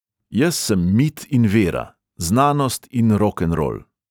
Jaz sem mit in vera, znanost in rokenrol ...